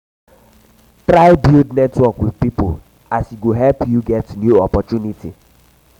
try build network wit new pipo as e go help help yu get new opportunity